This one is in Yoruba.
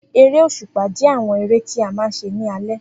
Eré òṣùpá jẹ́ àwọn eré tí a máa ń ṣe ní alé